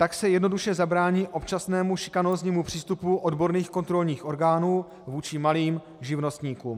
Tak se jednoduše zabrání občasnému šikanóznímu přístupu odborných kontrolních orgánů vůči malým živnostníkům.